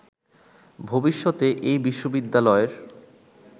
ভবিষ্যতে এই বিশ্ববিদ্যালয়ের